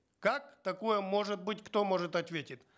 как такое может быть кто может ответить